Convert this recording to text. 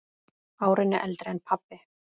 Árinu eldri en pabbi.